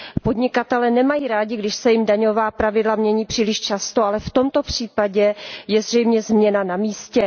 Podnikatelé nemají rádi, když se jim daňová pravidla mění příliš často, ale v tomto případě je zřejmě změna na místě.